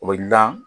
O bɛ dilan